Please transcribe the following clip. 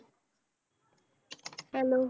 Hello